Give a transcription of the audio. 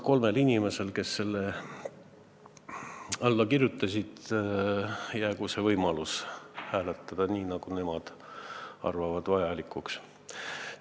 Kolmel inimesel, kes on eelnõule alla kirjutanud, jäägu võimalus hääletada nii, nagu nemad vajalikuks peavad.